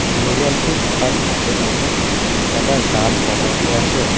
ঘৰিয়ালটো থকাৰ দৃশ্যখনো এটা জান বনাই দিয়া আছে।